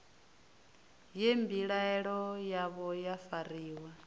ye mbilaelo yavho ya fariwa